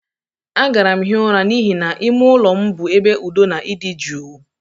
Agara m hie ụra n'ihi na ime ụlọ m bụ ebe udo na ịdị jụụ.